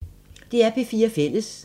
DR P4 Fælles